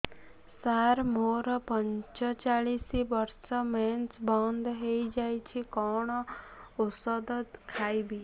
ସାର ମୋର ପଞ୍ଚଚାଳିଶି ବର୍ଷ ମେନ୍ସେସ ବନ୍ଦ ହେଇଯାଇଛି କଣ ଓଷଦ ଖାଇବି